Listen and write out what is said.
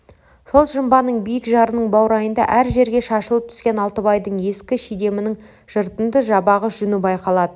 сол жымбаның биік жарының баурайында әр жерге шашылып түскен алтыбайдың ескі шидемінің жыртынды жабағы жүні байқалды